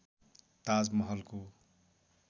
ताज महलको